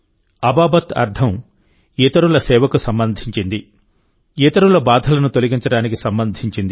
అబాబత్ అర్థం ఇతరుల సేవకు సంబంధించింది ఇతరుల బాధలను తొలగించడానికి సంబంధించింది